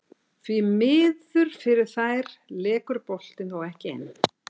Því miður fyrir þær lekur boltinn þó ekki inn.